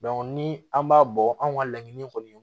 ni an b'a bɔ an ka laɲini kɔni ye